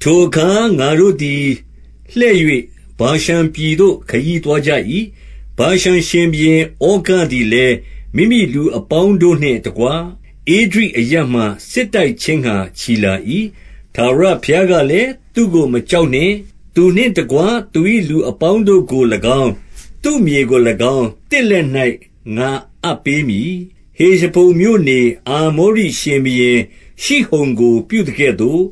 ထိုအခါ ငါတို့သည်လှည့်၍၊ ဗာရှန်ပြည်သို့ ခရီးသွားကြ၏။ ဗာရှန်ရှင်ဘုရင် ဩဃသည်လည်း မိမိလူအပေါင်းတို့နှင့်တကွ ဧဒြိအရပ်မှာ စစ်တိုက်ခြင်းငှာချီလာ၏။ 2ထာဝရဘုရားကလည်း၊ သူ့ကိုမကြောက်နှင့်။ သူနှင့်တကွ သူ၏လူအပေါင်းတို့ကိုလည်းကောင်း၊ သူ့မြေကိုလည်းကောင်း၊ သင့်လက်၌ငါအပ်ပေးမည်။ ဟေရှဘုန်မြို့နေ အာမောရိရှင်ဘုရင် ရှိဟုန်ကိုပြုသကဲ့သို့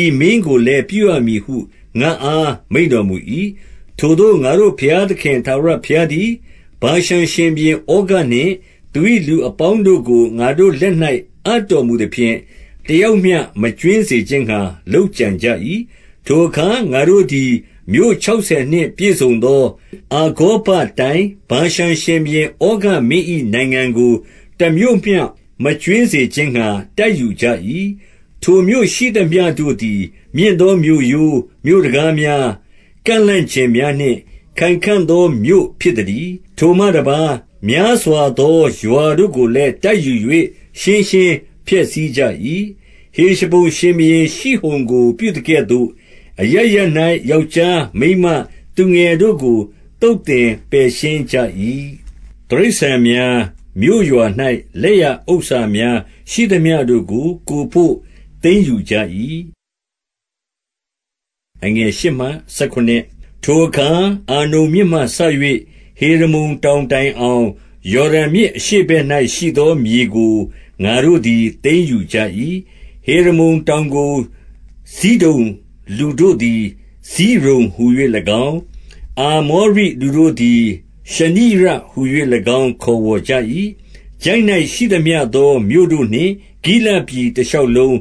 ဤမင်းကိုလည်းပြုရမည်ဟု ငါ့အား မိန့်တော်မူ၏။ 3ထိုသို့ ငါတို့ဘုရားသခင်ထာဝရဘုရားသည်၊ ဗာရှန်ရှင်ဘုရင်ဩဃနှင့် သူ၏လူအပေါင်းတို့ကို ငါတို့လက်၌အပ်တော်မူသဖြင့်၊ တစ်ယောက်မျှ မကြွင်းစေခြင်းငှာ လုပ်ကြံကြ၏။ 4ထိုအခါ ငါတို့သည် မြို့ခြောက်ဆယ်နှင့်ပြည့်စုံသော အာဂေါဘတိုင်း၊ ဗာရှန်ရှင်ဘုရင် ဩဃမင်း၏နိုင်ငံကို၊ တစ်မြို့မျှမကြွင်းစေခြင်းငှာ တိုက်ယူကြ၏။ 5ထိုမြို့ရှိသမျှတို့သည် မြင့်သောမြို့ရိုး၊ မြို့တံခါးများ၊ ကန့်လန့်ကျင်များနှင့် ခိုင်ခံ့သောမြို့ဖြစ်သတည်း။ ထိုမှတစ်ပါး များစွာသောရွာတို့ကိုလည်း တိုက်ယူ၍ ရှင်းရှင်းဖျက်ဆီးကြ၏။ 6ဟေရှဘုန်ရှင်ဘုရင် ရှိဟုန်ကိုပြုသကဲ့သို့၊ အရပ်ရပ်၌ ယောက်ျား၊ မိန်းမ၊ သူငယ်တို့ကို သုတ်သင်ပယ်ရှင်းကြ၏။ 7တိရစ္ဆာန်များ၊ မြို့ရွာ၌ လက်ရဥစ္စာများရှိသမျှတို့ကို ကိုယ်ဖို့သိမ်းယူကြ၏။ 8ထိုအခါ အာနုန်မြစ်မှစ၍ ဟေရမုန်တောင်တိုင်အောင်၊ ယော်ဒန်မြစ် အရှေ့ဘက်၌ရှိသောမြေကို ငါတို့သည်သိမ်းယူကြ၏။ 9ဟေရမုန်တောင်ကို ဇိဒုန်လူတို့သည် စိရုန်ဟူ၍လည်းကောင်း၊ အာမောရိလူတို့သည် ရှုနိရဟူ၍လည်းကောင်း ခေါ်ဝေါ်ကြ၏။ 10ချိုင့်၌ရှိသမျှသောမြို့တို့နှင့် ဂိလဒ်ပြည်တစ်လျှောက်လုံး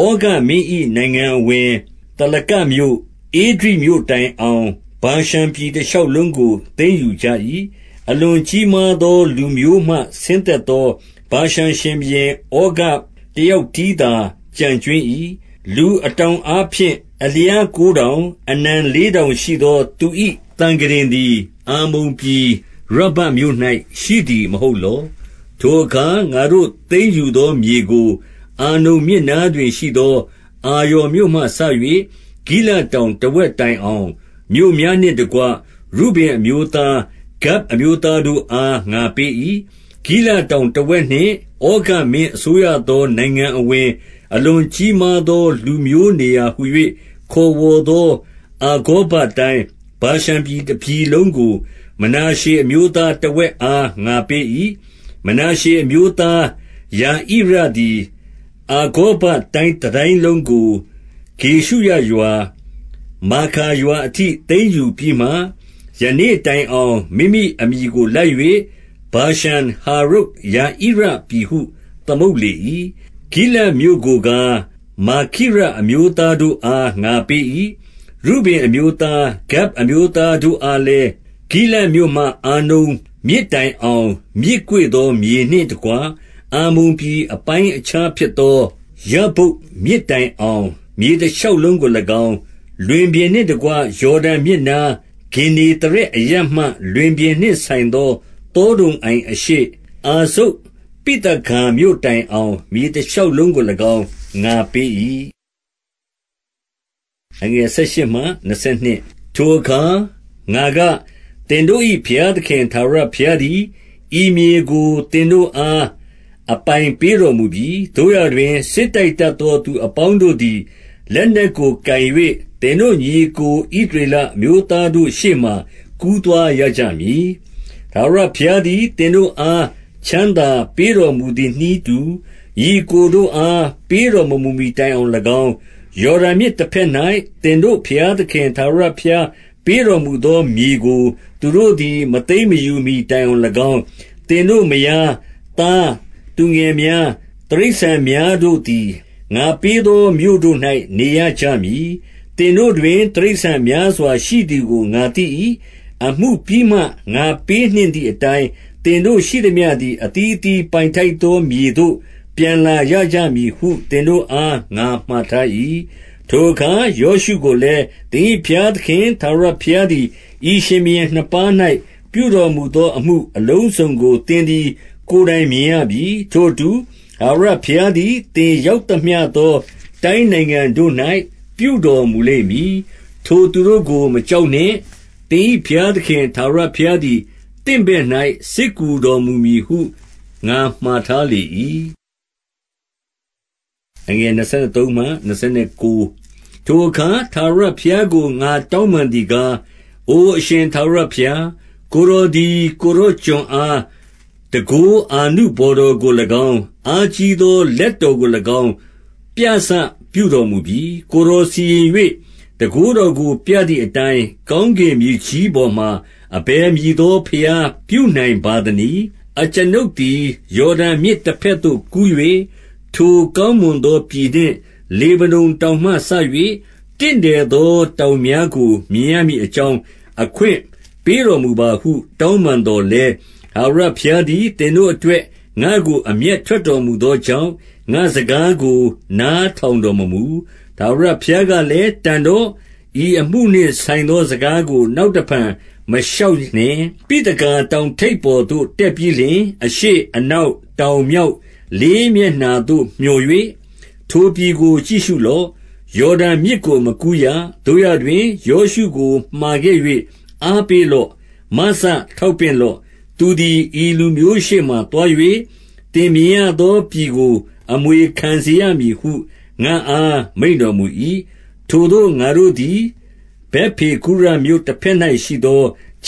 ၊ ဩဃမင်း၏နိုင်ငံအဝင်၊ သာလကမြို့၊ ဧဒြိမြို့တိုင်အောင် ဗာရှန်ပြည်တစ်လျှောက်လုံးကို သိမ်းယူကြ၏။ 11အလွန်ကြီးမားသောလူမျိုးမှ ဆင်းသက်သော ဗာရှန်ရှင်ဘုရင် ဩဃတစ်ယောက်တည်းသာ ကျန်ကြွင်း၏။ လူအတောင်အားဖြင့် အလျားကိုးတောင်၊ အနံလေးတောင်ရှိသော သူ၏သံခုတင်သည် အမ္မုန်ပြည်၊ ရဗ္ဗတ်မြို့၌ရှိသည်မဟုတ်လော။ ယော်ဒန်မြစ်အရှေ့ဘက်တွင်နေသောအနွယ်များ (တော၊ ၃၂:၁-၄၂) 12ထိုအခါ ငါတို့သိမ်းယူသောမြေကို၊ အာနုန်မြစ်နားတွင်ရှိသော အာရော်မြို့မှစ၍ ဂိလဒ်တောင်တစ်ဝက်တိုင်အောင်၊ မြို့များနှင့်တကွ ရုဗင်အမျိုးသား၊ ဂဒ်အမျိုးသားတို့အား ငါပေး၏။ 13ဂိလဒ်တောင်တစ်ဝက်နှင့် ဩဃမင်းအစိုးရသော နိုင်ငံအဝင်၊ အလွန်ကြီးမားသော လူမျိုးနေရာဟူ၍ ခေါ်ဝေါ်သောအာဂေါဘတိုင်း၊ ဗာရှန်ပြည်တစ်ပြည်လုံးကို မနာရှေအမျိုးသားတစ်ဝက်အား ငါပေး၏။ 14မနာရှေအမျိုးသား ယာဣရသည်၊ အာဂေါဘတိုင်းတစ်တိုင်းလုံးကို ဂေရှုရရွာ၊ မာခါရွာအထိသိမ်းယူပြီးမှ၊ ယနေ့တိုင်အောင် မိမိအမည်ကိုလိုက်၍ ဗာရှန်ဟာဝုတ်ယာဣရပြည်ဟု သမုတ်လေ၏။ 15ဂိလဒ်မြို့ကိုကား၊ မာခိရအမျိုးသားတို့အားငါပေး၏။ 16ရုဗင်အမျိုးသား၊ ဂဒ်အမျိုးသားတို့အားလည်း၊ ဂိလဒ်မြို့မှ အာနုန်မြစ်တိုင်အောင်၊ မြစ်ကွေ့သောမြေနှင့်တကွ၊ အမ္မုန်ပြည်အပိုင်းအခြားဖြစ်သော ယဗ္ဗုတ်မြစ်တိုင်အောင် မြေတစ်လျှောက်လုံးကိုလည်းကောင်း၊ 17လွင်ပြင်နှင့်တကွ ယော်ဒန်မြစ်နား၊ ဂင်္နေသရက်အရပ်မှ လွင်ပြင်နှင့်ဆိုင်သော သောဒုံအိုင်အရှေ့၊ အာဇုတ်ဝိသဂါမြို့တိုင်အောင်၊ မြေတစ်လျှောက်လုံးကိုလည်းကောင်း ငါပေး၏။ 18ထိုအခါ ငါက၊ သင်တို့၏ဘုရားသခင် ထာဝရဘုရားသည် ဤမြေကို သင်တို့အားအပိုင်ပေးတော်မူပြီ။ သို့ရာတွင် စစ်တိုက်တတ်သောသူအပေါင်းတို့သည် လက်နက်ကိုကိုင်၍၊ သင်တို့ညီအစ်ကို ဣသရေလအမျိုးသားတို့ရှေ့မှာ ကူးသွားရကြမည်။ 19-20ထာဝရဘုရားသည် သင်တို့အား ချမ်းသာပေးတော်မူသည်နည်းတူ၊ ညီအစ်ကိုတို့အား ပေးတော်မမူမီတိုင်အောင်လည်းကောင်း၊ ယော်ဒန်မြစ်တစ်ဖက်၌ သင်တို့၏ ဘုရားသခင်ထာဝရဘုရားပေးတော်မူသောမြေကို သူတို့သည် မသိမ်းမယူမီတိုင်အောင်လည်းကောင်း၊ သင်တို့မယား၊ သားသူငယ်များ၊ တိရစ္ဆာန်များတို့သည် ငါပေးသောမြို့တို့၌ နေရကြမည်။ သင်တို့တွင် တိရစ္ဆာန်များစွာရှိသည်ကို ငါသိ၏။ အမှုပြီးမှ ငါပေးနှင့်သည်အတိုင်း၊ သင်တို့ရှိသမျှသည် အသီးအသီး ပိုင်ထိုက်သောမြေသို့ ပြန်လာရကြမည်ဟု သင်တို့အားငါမှာထား၏။ 21ထိုအခါယောရှုကိုလည်း၊ သင်၏ဘုရားသခင်ထာဝရဘုရားသည် ဤရှင်ဘုရင်နှစ်ပါး၌ ပြုတော်မူသောအမှုအလုံးစုံကို သင်သည်ကိုယ်တိုင်မြင်ရပြီ။ ထိုအတူ၊ ထာဝရဘုရားသည် သင်ရောက်သမျှသောတိုင်းနိုင်ငံတို့၌ ပြုတော်မူလိမ့်မည်။ 22ထိုသူတို့ကို မကြောက်နှင့်။ သင်၏ဘုရားသခင်ထာဝရဘုရားသည် သင့်ဘက်၌ စစ်ကူတော်မူမည်ဟု ငါမှာထားလေ၏။ ကတိတော်ပြည်သို့မောရှေမဝင်ရ 23ထိုအခါ ထာဝရဘုရားကို ငါတောင်းပန်သည်ကား၊ 24အို အရှင်ထာဝရဘုရား၊ ကိုယ်တော်သည် ကိုယ်တော်ကျွန်အား တန်ခိုးအာနုဘော်တော်ကိုလည်းကောင်း၊ အားကြီးသောလက်တော်ကိုလည်းကောင်း ပြစပြုတော်မူပြီ။ ကိုယ်တော်စီရင်၍ တန်ခိုးတော်ကိုပြသည်အတိုင်း၊ ကောင်းကင်မြေကြီးပေါ်မှာ အဘယ်မည်သောဘုရား ပြုနိုင်ပါသနည်း။ 25အကျွန်ုပ်သည် ယော်ဒန်မြစ်တစ်ဖက်သို့ကူး၍၊ ထိုကောင်းမွန်သောပြည်နှင့် လေဗနုန်တောင်မှစ၍ တင့်တယ်သောတောင်များကို မြင်ရမည်အကြောင်း အခွင့်ပေးတော်မူပါဟုတောင်းပန်သော်လည်း၊ 26ထာဝရဘုရားသည် သင်တို့အတွက် ငါ့ကိုအမျက်ထွက်တော်မူသောကြောင့်၊ ငါ့စကားကို နားထောင်တော်မမူ။ ထာဝရဘုရားကလည်း၊ တန်တော့၊ ဤအမှုနှင့်ဆိုင်သောစကားကို နောက်တစ်ဖန်မလျှောက်နှင့်။ 27ပိသဂါတောင်ထိပ်ပေါ်သို့ တက်ပြီးလျှင်၊ အရှေ့၊ အနောက်၊ တောင်၊ မြောက် လေးမျက်နှာသို့မျှော်၍ ထိုပြည်ကိုကြည့်ရှုလော့။ ယော်ဒန်မြစ်ကို မကူးရ။ 28သို့ရာတွင် ယောရှုကိုမှာခဲ့၍ အားပေးလော့။ မစထောက်ပင့်လော့။ သူသည် ဤလူမျိုးရှေ့မှာသွား၍၊ သင်မြင်ရသောပြည်ကို အမွေခံစေရမည်ဟု ငါ့အားမိန့်တော်မူ၏။ 29ထိုသို့ ငါတို့သည် ဗက်ပေဂုရမြို့တစ်ဖက်၌ ရှိသောခ